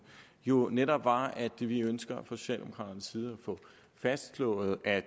jo netop var at vi ønsker fra socialdemokraternes side at få fastslået at